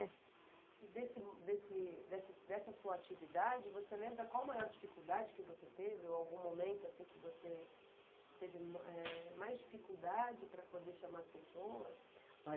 E dessa sua atividade, você lembra qual a maior dificuldade que você teve ou algum momento que você teve mais dificuldade para poder chamar as pessoas?